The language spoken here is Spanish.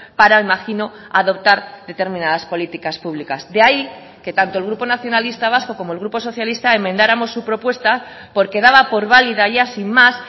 para el imagino adoptar determinadas políticas públicas de ahí que tanto el grupo nacionalista vasco como el grupo socialista enmendáramos su propuesta porque daba por válida ya sin más